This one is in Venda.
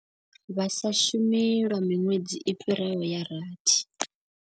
Vha sa shumi lwa miṅwedzi i fhiraho ya rathi.